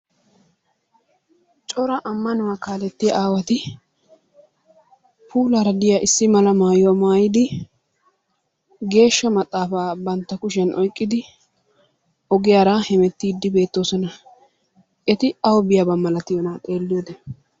Cora ammanuwa kaaletiyaa aawati puulaara diya issi mala maayuwaa maayyidi geeshsha maxaafa bantta kushiyaa oyqqidi ogiyaara hemettide beettoosona. Eti awu biyaaba malatiyoona xeelliyoode?